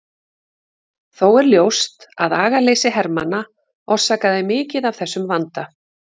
Þó er ljóst að agaleysi hermanna orsakaði mikið af þessum vanda.